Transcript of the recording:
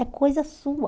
É coisa sua.